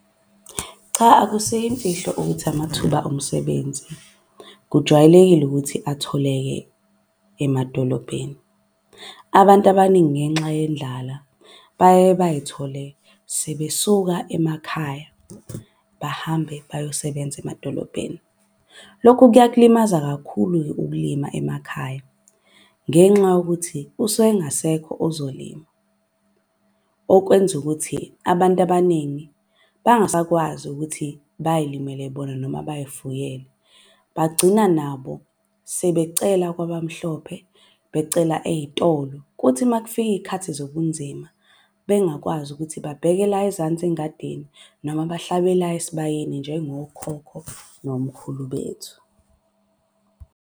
Cha akusiyo imfihlo ukuthi amathuba omsebenzi kujwayelekile ukuthi atholeke emadolobheni. Abantu abaningi ngenxa yendlala baye bay'thole sebesuka emakhaya bahambe bayosebenza emadolobheni. Lokhu kuyakulimaza kakhulu-ke ukulima emakhaya, ngenxa yokuthi usuke engasekho ozolima. Okwenza ukuthi abantu abaningi bangasakwazi ukuthi bayilimele bona noma bay'fuyele bagcina nabo sebecela kwabamhlophe. Becela ey'tolo kuthi uma kufika iy'khathi zobunzima, bengakwazi ukuthi babheke la ezansi engadini. Noma bahlabe la esibayeni njengokhokho nomkhulu bethu.